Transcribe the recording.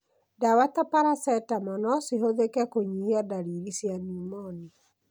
Dawa ta paracetamol nocihũthĩke kũnyihia ndariri cia pneumonia.